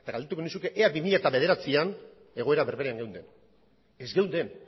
galdetuko nizuke ea bi mila bederatzian egoera berberean geunden ez geunden